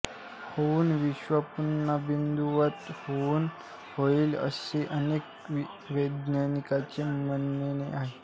होऊन विश्व पुन्हा बिंदुवत होईल असे अनेक वैज्ञानिकांचे म्हणणे आहे